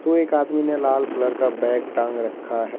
एक आदमी ने लाल कलर बैग टांग रखा है।